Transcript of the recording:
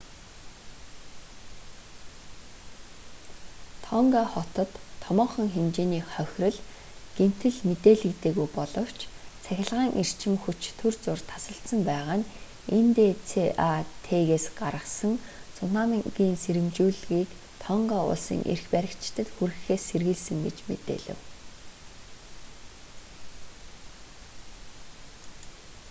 тонга хотод томоохон хэмжээний хохирол гэмтэл мэдээлэгдээгүй боловч цахилгаан эрчим хүч түр зуур тасалдсан байгаа нь ндцат-с гаргасан цунамигийн сэрэмжлүүлгийг тонга улсын эрх баригчдад хүргэхээс сэргийлсэн гэж мэдээлэв